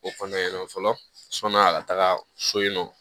O kɔnɔna na fɔlɔ sɔni'a ka taga so yen nɔ